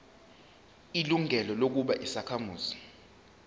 ilungelo lokuba yisakhamuzi